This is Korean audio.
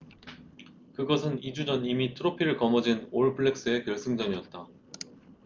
그것은 2주 전 이미 트로피를 거머쥔 올 블랙스'의 결승전이었다